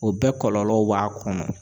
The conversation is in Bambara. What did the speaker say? O bɛɛ kɔlɔlɔw b'a kɔnɔ.